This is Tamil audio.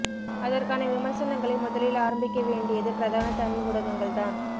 அதற்கான விமர்சனங்களை முதலில் ஆரம்பிக்க வேண்யடிது பிரதான தமிழ் ஊடகங்கள் தான்